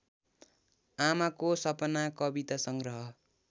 आमाको सपना कवितासंग्रह